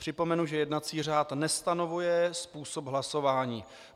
Připomenu, že jednací řád nestanovuje způsob hlasování.